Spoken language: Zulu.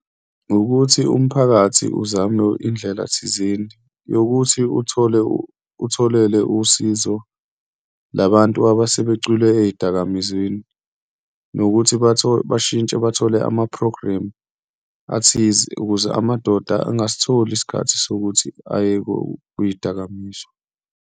Wukuthi umphakathi uzame indlela thizeni yokuthi uthole, utholele usizo labantu abasebecwile ey'dakamizweni nokuthi bashintshe bathole amaphrogremu athize ukuze amadoda engasitholi isikhathi sokuthi ayekuyidakamizwa.